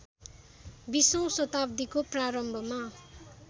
बीसौँ शताब्दीको प्रारम्भमा